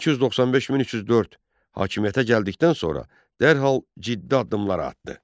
1295-1304 hakimiyyətə gəldikdən sonra dərhal ciddi addımlar atdı.